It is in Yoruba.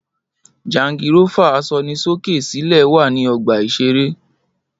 Jangirófà asọnisókè-sílẹ̀ wà ní ọgbà-ìṣeré